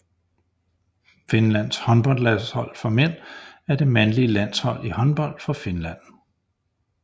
Finlands håndboldlandshold for mænd er det mandlige landshold i håndbold for Finland